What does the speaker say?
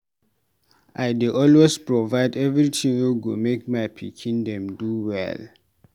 I dey always provide everytin wey go make my pikin dem do well.